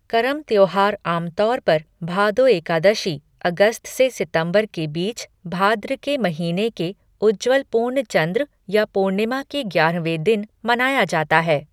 करम त्योहार आमतौर पर भादो एकादशी, अगस्त से सितंबर के बीच भाद्र के महीने के उज्ज्वल पूर्णचंद्र या पूर्णिमा के ग्यारहवें दिन, मनाया जाता है।